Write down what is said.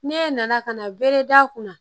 Ne nana ka na bere d'a kun na